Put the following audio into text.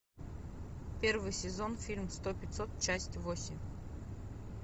первый сезон фильм сто пятьсот часть восемь